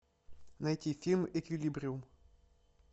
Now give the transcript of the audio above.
найти фильм эквилибриум